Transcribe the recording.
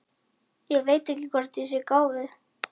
Ég veit ekki hvort ég er gáfuð.